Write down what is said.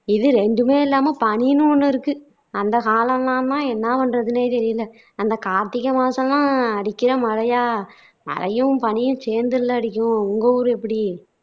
இது ரெண்டுமே இல்லாம பனின்னு ஒண்ணு இருக்கு அந்த காலமெல்லாம் என்ன பண்றாதுன்னே தெரியல அந்த கார்த்திகை மாசம் எல்லாம் அடிக்கிற மழையா மழையும் பனியும் சேந்துல்ல அடிக்கும். உங்க ஊரு எப்படி